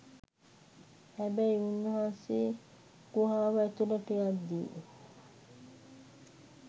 හැබැයි උන්වහන්සේ ගුහාව ඇතුලට යද්දී